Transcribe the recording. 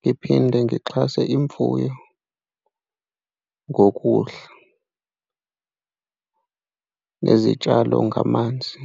ngiphinde ngixhase imfuyo ngokudla nezitshalo ngamanzi.